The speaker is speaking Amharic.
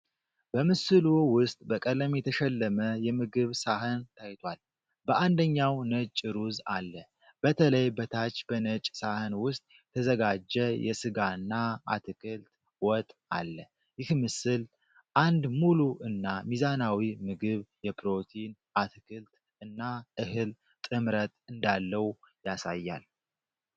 በምስሉ ውስጥ በቀለም የተሸለመ የምግብ ሳህን ታይቷል። በአንደኛው ነጭ ሩዝ አለ። በተለይ በታች በነጭ ሳህን ውስጥ የተዘጋጀ የስጋና አትክልት ወጥ አለ። ይህ ምስል አንድ ሙሉ እና ሚዛናዊ ምግብ የፕሮቲን፣ አትክልት እና እህል ጥምረት እንዳለው ያሳያል።